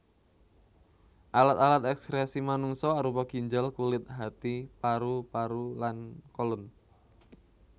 Alat alat ekskresi manungsa arupa ginjal kulit hati paru paru lan colon